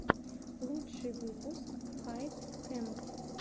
лучший выпуск хайп кэмп